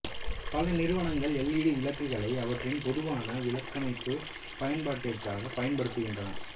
பல நிறுவனங்கள் L E D விளக்குகளை அவற்றின் பொதுவான விளக்கமைப்பு பயன்பாடிற்குப் பயன்படுத்துகின்றன